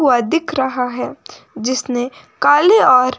वह दिख रहा है जिसने काले और--